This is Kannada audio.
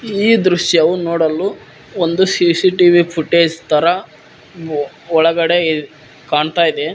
ಈ ದೃಶ್ಯವೂ ನೋಡಲು ಒಂದು ಸಿ_ಸಿ_ಟಿ_ವಿ ಫೋಟೇಜ್ ತರ ಒಳಗಡೆ ಕಾಣ್ತಾ ಇದೆ.